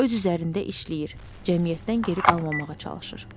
Öz üzərində işləyir, cəmiyyətdən geri qalmaması üçün çalışır.